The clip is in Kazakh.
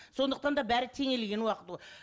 сондықтан да бәрі теңелген